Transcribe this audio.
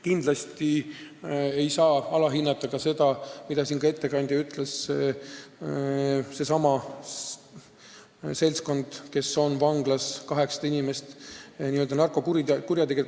Kindlasti ei saa alahinnata seda, mida ka arupärija ütles, et sellest seltskonnast, kes on vanglas, on 800 inimest narkokurjategijad.